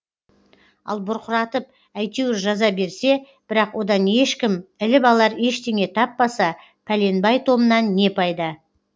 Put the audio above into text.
ал бұрқыратып әйтеуір жаза берсе бірақ одан ешкім іліп алар ештеңе таппаса пәленбай томнан не пайда